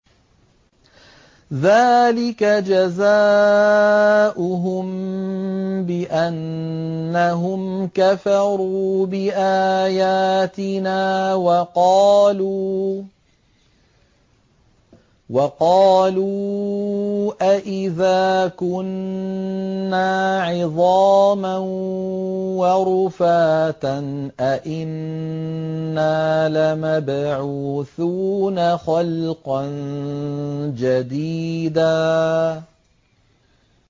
ذَٰلِكَ جَزَاؤُهُم بِأَنَّهُمْ كَفَرُوا بِآيَاتِنَا وَقَالُوا أَإِذَا كُنَّا عِظَامًا وَرُفَاتًا أَإِنَّا لَمَبْعُوثُونَ خَلْقًا جَدِيدًا